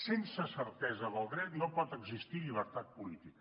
sense certesa del dret no pot existir llibertat política